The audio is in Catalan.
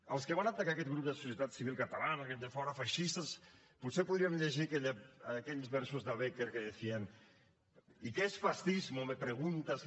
als que van atacar aquest grup de societat civil catalana aquells de fora feixistes potser podríem llegir aquells versos de bécquer que decían y qué es fascismo me preguntas